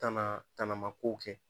Tanaa tanama kow kɛ